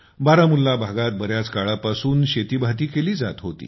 बारामुल्ला भागात बऱ्याच काळापासून शेतीभाती केली जात होती